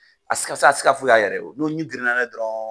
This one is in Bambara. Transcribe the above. Asika a se ka foyi ka yɛrɛ ye no min girin na na ye dɔrɔn.